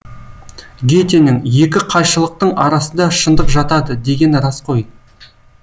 гетенің екі қайшылықтың арасында шындық жатады дегені рас қой